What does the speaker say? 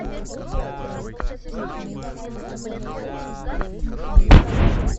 ассистент мне нужен сыр